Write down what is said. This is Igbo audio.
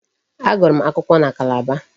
Agụrụ m akwụkwọ na Calabar.